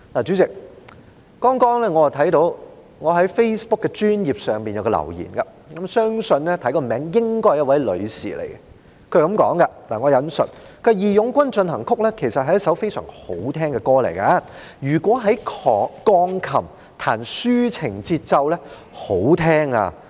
主席，剛剛我看到在我的 Facebook 專頁上有一個留言，從名字來看，相信是一位女士，她說："'義勇軍進行曲'其實是一首非常好聽的歌，如以鋼琴彈出抒情的節奏，那是很好聽的！